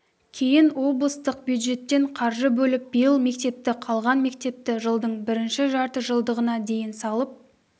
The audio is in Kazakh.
кейін облыстық бюджеттен қаржы бөліп биыл мектепті қалған мектепті жылдың бірінші жарты жылдығына дейін салып